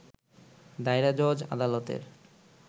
দায়রা জজ আদালতের